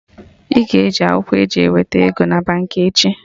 Ị ga-eji akwụkwọ e ji eweta ego na Baankị echi